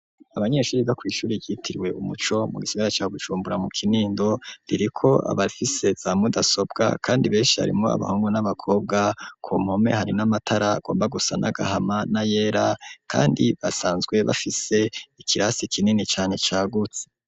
Abanyeshuri biga kw'ishuri ryitirwe umuco mu gisigara ca Bujumbura mu Kinindo ririko abafise za mudasobwa kandi beshi harimo abahungu n'abakobwa ku mpome hari n'amatara agomba gusa n'agahama na yera kandi basanzwe bafise ikirasi kinini cane cagutse.